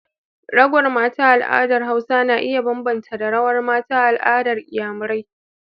Rawar mata a al'adar hausa na iya bambanta da rawar mata a al'adar iyamarai.